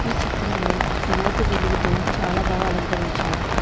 ఈ చిత్రంలో తెల్లటి వెలుగుతో చాలా బాగా అలంకరించారు.